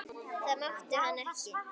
Það mátti hann ekki.